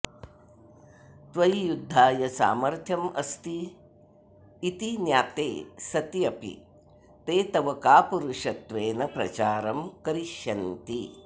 त्वयि युद्धाय सामर्थ्यम् अस्ति इति ज्ञाते सत्यपि ते तव कापुरुषत्वेन प्रचारं करिष्यन्ति